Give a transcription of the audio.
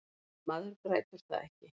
Maður grætur það ekki.